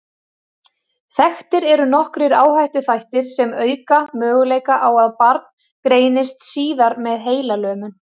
Þekktir eru nokkrir áhættuþættir sem auka möguleika á að barn greinist síðar með heilalömun.